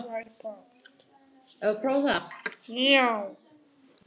alla leið upp í eldhús.